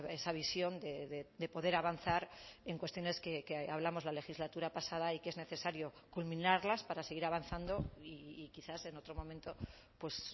esa visión de poder avanzar en cuestiones que hablamos la legislatura pasada y que es necesario culminarlas para seguir avanzando y quizás en otro momento pues